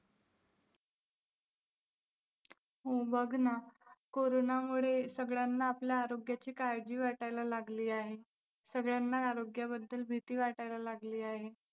हो बघ ना, कोरोनामुळे सगळ्यांना आपल्या आरोग्याची काळजी वाटायला लागली आहे. सगळ्यांना आरोग्याबद्दल भीती वाटायला लागली आहे.